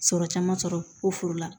Sɔrɔ caman sɔrɔ ko foro la